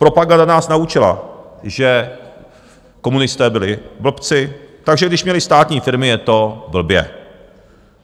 Propaganda nás naučila, že komunisté byli blbci, takže když měli státní firmy, je to blbě.